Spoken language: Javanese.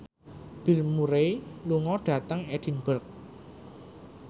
Bill Murray lunga dhateng Edinburgh